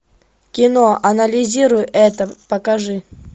кино анализируй это покажи